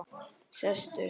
Sestu